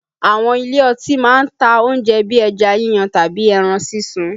Àwọn ilé ọtí máa ń ta oúnjẹ bíi ẹja yíyan tàbí ẹran sísun